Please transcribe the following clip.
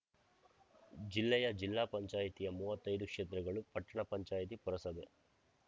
ಜಿಲ್ಲೆಯ ಜಿಲ್ಲಾ ಪಂಚಾಯಿತಿಯ ಮೂವತ್ತೈದು ಕ್ಷೇತ್ರಗಳು ಪಟ್ಟಣ ಪಂಚಾಯಿತಿ ಪುರಸಭೆ